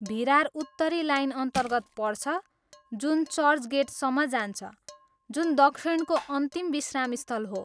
भिरार उत्तरी लाइनअन्तर्गत पर्छ जुन चर्चगेटसम्म जान्छ, जुन दक्षिणको अन्तिम विश्रामस्थल हो।